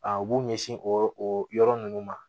A u b'u ɲɛsin o yɔrɔ o yɔrɔ ninnu ma